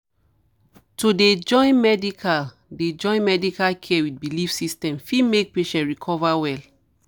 to dey join medical dey join medical care with belief system fit make patient recover well